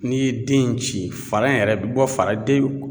N'i ye den in ci fara in yɛrɛ bi bɔ fara den in